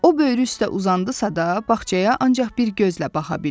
O böyrü üstə uzandısa da, bağçaya ancaq bir gözlə baxa bildi.